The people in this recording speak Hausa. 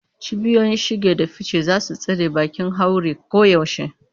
Cibiyoyin shige da fice za su tsare bakin haure koyaushe.